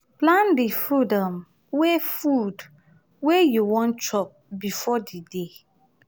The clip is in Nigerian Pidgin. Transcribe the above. plan di food um wey food wey you wan chop before di day